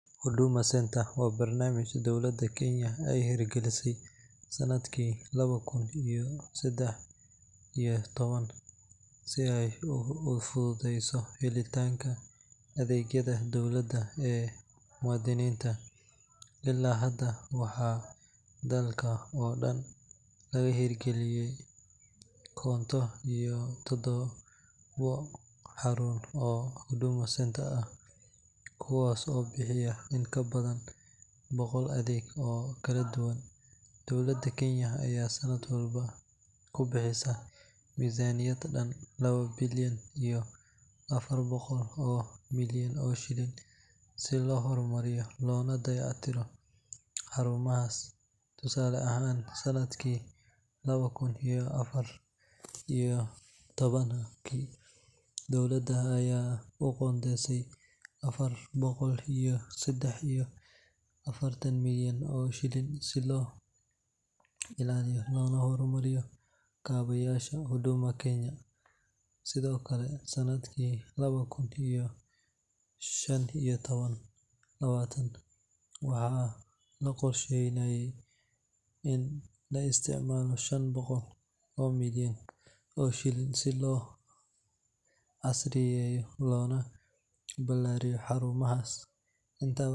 Huduma Centre waa barnaamij dowladda Kenya ay hirgelisay sanadkii laba kun iyo saddex iyo toban si ay u fududeyso helitaanka adeegyada dowladda ee muwaadiniinta. Ilaa hadda, waxaa dalka oo dhan laga hirgeliyay konton iyo toddobo xarumood oo Huduma Centre ah, kuwaas oo bixiya in ka badan boqol adeeg oo kala duwan. Dowladda Kenya ayaa sanad walba ku bixisa miisaaniyad dhan laba bilyan iyo afar boqol oo milyan oo shilin si loo horumariyo loona dayactiro xarumahaas. Tusaale ahaan, sanadkii laba kun iyo afar iyo labaatanka, dowladda ayaa u qoondeysay afar boqol iyo saddex iyo afartan milyan oo shilin si loo ilaaliyo loona horumariyo kaabayaasha Huduma Kenya . Sidoo kale, sanadkii laba kun iyo shan iyo labaatanka, waxaa la qorsheeyay in la isticmaalo shan boqol oo milyan oo shilin si loo casriyeeyo loona balaariyo xarumahaas .